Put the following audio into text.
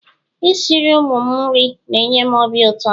Isiri ụmụ m nri na-enye m ọbi ụtọ